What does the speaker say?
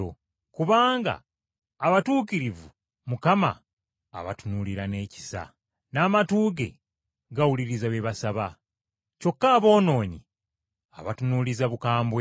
Kubanga abatuukirivu Mukama abatunuulira n’ekisa, n’amatu ge gawuliriza bye basaba. Kyokka aboonoonyi abatunuuliza bukambwe.”